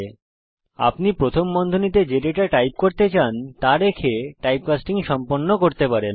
আপনি যে data type প্রথম বন্ধনীতে চান তা রেখে টাইপকাস্টিং সম্পন্ন করা হয়